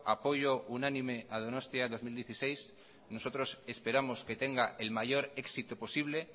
apoyo unánime a donostia dos mil dieciséis nosotros esperamos que tenga el mayor éxito posible